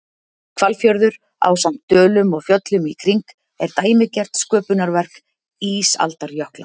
Hvalfjörður, ásamt dölum og fjöllum í kring, er dæmigert sköpunarverk ísaldarjökla.